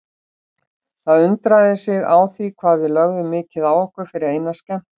Það undraði sig á því hvað við lögðum mikið á okkur fyrir eina skemmtun.